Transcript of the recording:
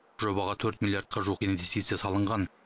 жобаға төрт миллиардқа жуық инвестиция салынған